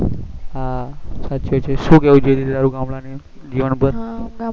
હા છે છે શું કેવું તારું છે તારું ગામડા ના જીવન ઉપર